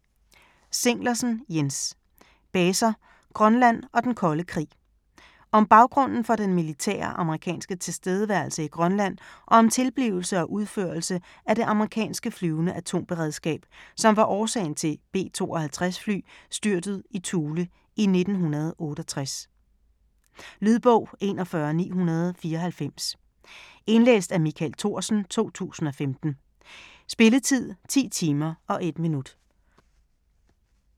Zinglersen, Jens: Baser, Grønland og den kolde krig Om baggrunden for den militære amerikanske tilstedeværelse i Grønland og om tilblivelse og udførelse af det amerikanske flyvende atomberedskab, som var årsagen til B-52 fly styrtet i Thule i 1968. Lydbog 41994 Indlæst af Michael Thorsen, 2015. Spilletid: 10 timer, 1 minut.